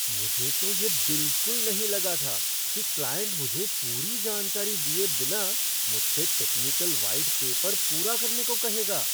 मुझे तो यह बिलकुल नहीं लगा था कि क्लाइंट मुझे पूरी जानकारी दिए बिना मुझसे टेक्निकल व्हाइट पेपर पूरा करने को कहेगा।